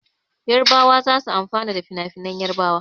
Yarbawa za su amfana da finafinan Yarbawa.